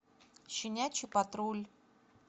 щенячий патруль